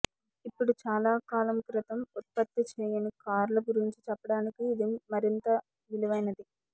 ఇప్పుడు చాలా కాలం క్రితం ఉత్పత్తి చేయని కార్ల గురించి చెప్పడానికి ఇది మరింత విలువైనది